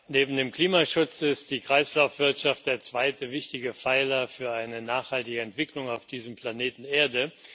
Neben dem Klimaschutz ist die Kreislaufwirtschaft der zweite wichtige Pfeiler für eine nachhaltige Entwicklung auf diesem Planeten Erde.